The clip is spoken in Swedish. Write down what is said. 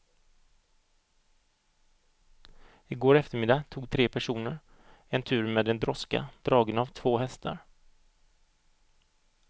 I går eftermiddag tog tre personer en tur med en droska dragen av två hästar.